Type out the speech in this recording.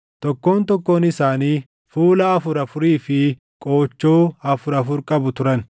tokkoon tokkoon isaanii fuula afur afurii fi qoochoo afur afur qabu turan.